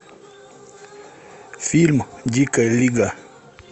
фильм дикая лига